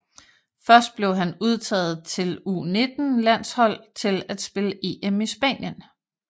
Først blev han udtaget til U19 landshold til at spille EM i Spanien